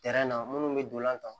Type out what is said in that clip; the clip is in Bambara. minnu bɛ dolan ta